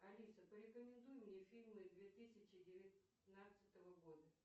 алиса порекомендуй мне фильмы две тысячи девятнадцатого года